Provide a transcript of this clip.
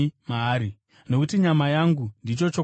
Nokuti nyama yangu ndicho chokudya chaicho.